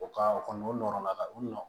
O ka o kɔni o nɔrɔ la ka u nɔ